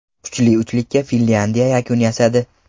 Kuchli uchlikka Finlyandiya yakun yasadi.